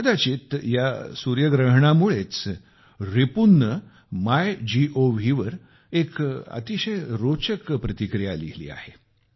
कदाचित या सूर्यग्रहणामुळेच रिपुनने मायगोव वर एक अतिशय रोचक प्रतिक्रिया लिहिली आहे